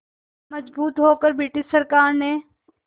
मजबूर होकर ब्रिटिश सरकार ने